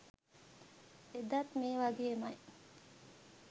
එදත් මේ වගේමයි